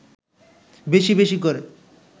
বেশি বেশি করে